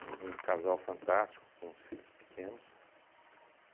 Mas um casal fantástico, com os filhos pequenos.